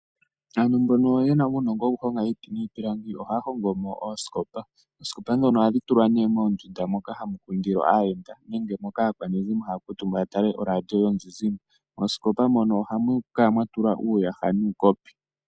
Aantu mbono yena uunongo wokuhonga iiti niipilangi, ohaa hongomo iihongomwa ngaashi oosikopa. Oosikopa ndhono ohadhi tulwa moondunda dhokugondja hamu talwa oradio yomuzizimbe nenge moka hamu kundilwa aayenda. Moosikopa muno ohamu tulwa uuyaha nuukopi.